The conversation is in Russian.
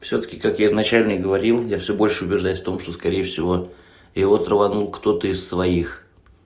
всё-таки как я её начальник говорил я всё больше убеждаюсь в том что скорее всего его рванул кто-то из своих